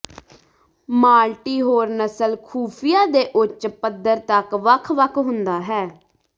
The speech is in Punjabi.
ਮਾਲਟੀ ਹੋਰ ਨਸਲ ਖੁਫੀਆ ਦੇ ਉੱਚ ਪੱਧਰ ਤੱਕ ਵੱਖ ਵੱਖ ਹੁੰਦਾ ਹੈ